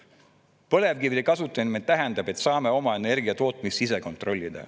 Põlevkivi kasutamine tähendab, et saame oma energiatootmist ise kontrollida.